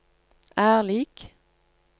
er lik